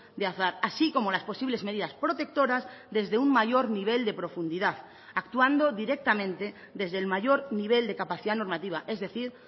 de azar así como las posibles medidas protectoras desde un mayor nivel de profundidad actuando directamente desde el mayor nivel de capacidad normativa es decir